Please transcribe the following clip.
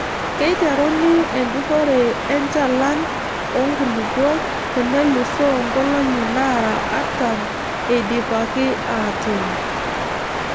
Keiteruni enjurrore enchalan oo nkulupuok tenelusoo nkolong'i naara artam eidipaki aatuun.